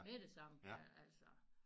Med det samme altså